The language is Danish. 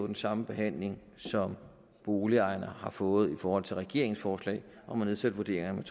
den samme behandling som boligejerne har fået i forhold til regeringens forslag om at nedsætte vurderingerne